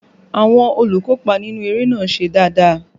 Àwọn olùkópa inú eré náà ṣe dáadáa